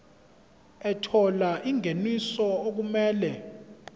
ethola ingeniso okumele